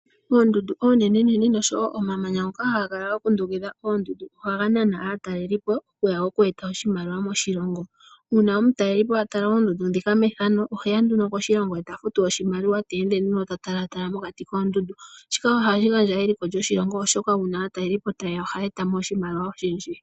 Oondundu oonene noshowo omamanya ngoka haga kala ga kundukidha oondundu ohaga nana aataleli po okuya noku eta oshimaliwa moshilongo. Uuna omutaleli po a tala oondundu ndhika mefano oheya moshilongo eta futu oshimaliwa ta ende ta tala mokati koondundu, shika ohashi gandja eliko lyoshilongo oshoka aataleli po ohaya gandja iimaliwa oshindji.